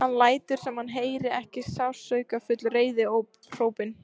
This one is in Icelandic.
Hann lætur sem hann heyri ekki sársaukafull reiðihrópin.